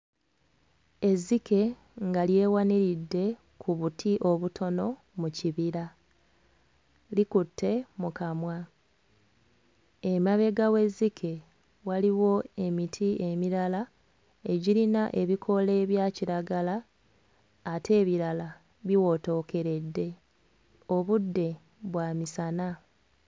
Ezzike nga lyewaniridde ku buti obutono mu kibira likutte mu kamwa emabega w'ezzike waliwo emiti emirala egirina ebikoola ebya kiragala ate ebirala biwotookeredde obudde bwa misana.